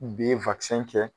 B kɛ